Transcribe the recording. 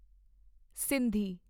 Sindhi